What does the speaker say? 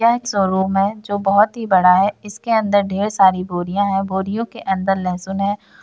यह एक शोरूम है जो बहुत ही बढ़ा है इसके अंदर ढेर सारी बोरिया है बोरियो के अंदर लहसुन है।